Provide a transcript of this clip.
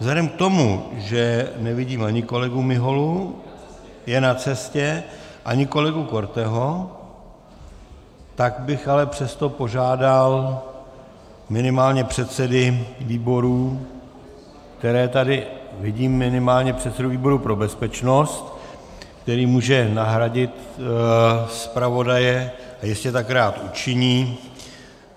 Vzhledem k tomu, že nevidím ani kolegu Miholu, je na cestě, ani kolegu Korteho, tak bych ale přesto požádal minimálně předsedy výborů, které tady vidím, minimálně předsedu výboru pro bezpečnost, který může nahradit zpravodaje a jistě tak rád učiní.